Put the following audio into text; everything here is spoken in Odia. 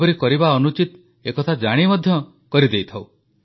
ଏପରି କରିବା ଅନୁଚିତ ଏକଥା ଜାଣି ମଧ୍ୟ କରିଦେଉଥାଉଁ